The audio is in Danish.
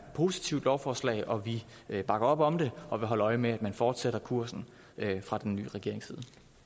positivt lovforslag og vi bakker op om det og vil holde øje med om man fortsætter kursen fra den nye regerings